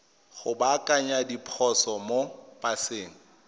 go baakanya diphoso mo paseng